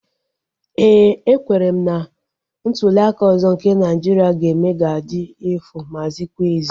Éè, ekwere m na ntuliaka ọzọ nke Naịjiria ga-eme ga-adị efu ma zikwa ezi